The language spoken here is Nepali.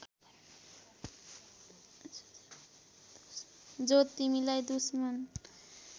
जो तिमीलाई दुश्मन